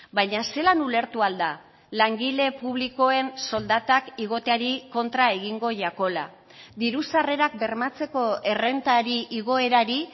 baina zelan ulertu ahal da langile publikoen soldatak igoteari kontra egingo jakola diru sarrerak bermatzeko errentari igoerari